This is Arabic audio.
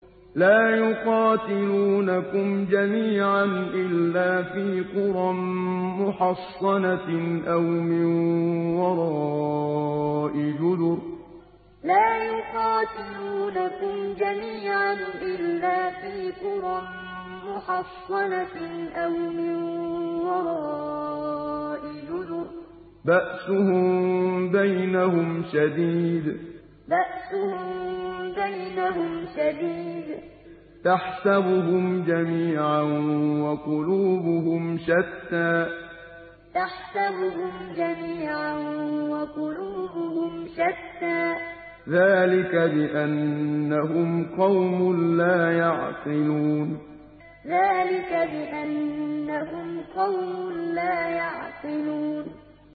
لَا يُقَاتِلُونَكُمْ جَمِيعًا إِلَّا فِي قُرًى مُّحَصَّنَةٍ أَوْ مِن وَرَاءِ جُدُرٍ ۚ بَأْسُهُم بَيْنَهُمْ شَدِيدٌ ۚ تَحْسَبُهُمْ جَمِيعًا وَقُلُوبُهُمْ شَتَّىٰ ۚ ذَٰلِكَ بِأَنَّهُمْ قَوْمٌ لَّا يَعْقِلُونَ لَا يُقَاتِلُونَكُمْ جَمِيعًا إِلَّا فِي قُرًى مُّحَصَّنَةٍ أَوْ مِن وَرَاءِ جُدُرٍ ۚ بَأْسُهُم بَيْنَهُمْ شَدِيدٌ ۚ تَحْسَبُهُمْ جَمِيعًا وَقُلُوبُهُمْ شَتَّىٰ ۚ ذَٰلِكَ بِأَنَّهُمْ قَوْمٌ لَّا يَعْقِلُونَ